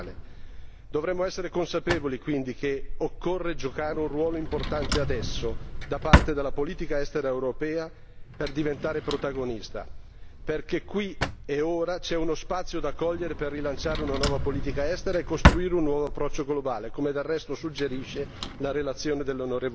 Dovremo essere consapevoli, quindi, che occorre giocare un ruolo importante adesso da parte della politica estera europea per diventare protagonista, perché qui ed ora c'è uno spazio da cogliere per rilanciare una nuova politica estera e costruire un nuovo approccio globale, come del resto suggerisce la relazione dell'onorevole Brok.